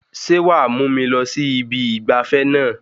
Sé wàá mú mi lọ sí ibi ìgbafẹ́ náà?